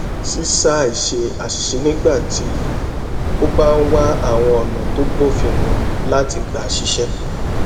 ṣíṣàì ṣe àṣìṣe nígbà tó o bá ń wá àwọn ònà tó bófin mu láti gbà ṣiṣé